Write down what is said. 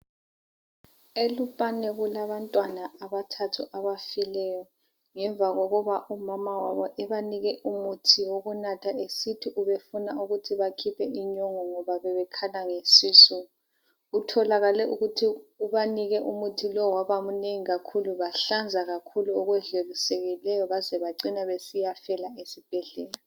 ELupane kulabantwana abathathu abafileyo ngemva kokuba umama wabo ebanike umuthi wokunatha esithi ubefuna ukuthi bakhiphe inyongo ngoba bebekhala ngesisu. Kutholakale ukuthi ubanike umuthi lowu waba mnengi kakhulu bahlanza kakhulu baze bacina besiyafela esibhedlela.